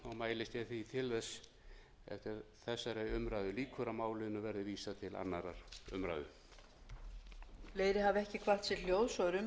mælist ég því til þess er þessari umræðu lýkur að málinu verði vísað til annarrar umræðu